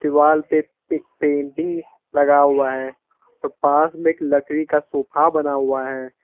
दीवाल पे एक पेंटिंग लगा हुआ है और पास में एक लकड़ी का सोफा बना हुआ है।